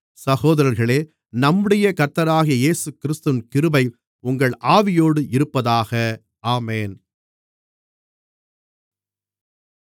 சகோதரர்களே நம்முடைய கர்த்தராகிய இயேசுகிறிஸ்துவின் கிருபை உங்கள் ஆவியோடு இருப்பதாக ஆமென்